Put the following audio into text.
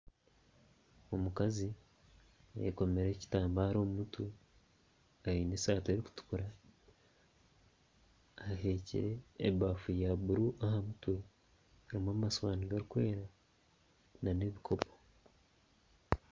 Omukazi ayekomire ekitambare omu mutwe aine esaati erikutukura ayekoreire ebafu ya buru aha mutwe harimu amasiwaani garikwera n'ebikopo.